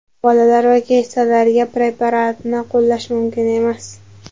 Bolalar va keksalarga preparatni qo‘llash mumkin emas.